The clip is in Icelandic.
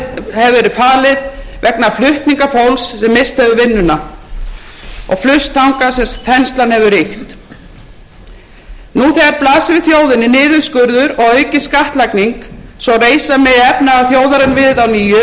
hefur verið falið vegna flutninga fólks sem misst hefur vinnuna og flust þangað sem þenslan hefur ríkt nú þegar blasir við þjóðinni niðurskurður og aukin skattlagning svo reisa megi efnahag þjóðarinnar við að nýju eftir kaldar krumlur hins kapítalíska markaðskerfis verður að taka mið af því